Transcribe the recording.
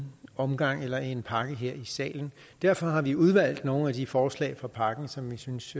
omgang eller som én pakke her i salen derfor har vi udvalgt nogle af de forslag fra pakken som vi synes